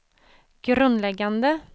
grundläggande